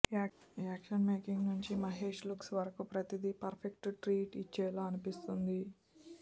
action making నుంచి Mahesh looks వరకు ప్రతీది పర్ఫెక్ట్ ట్రీట్ ఇచ్చేలా అనిపిస్తుంది